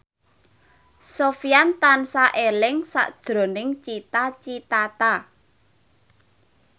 Sofyan tansah eling sakjroning Cita Citata